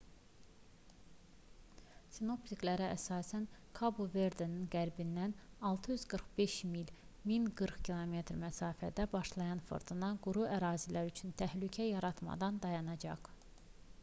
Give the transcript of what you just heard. sinoptiklərə əsasən kabo-verdenin qərbindən 645 mil 1040 km məsafədə başlayan fırtına quru ərazilər üçün təhlükə yaratmadan dayanacaq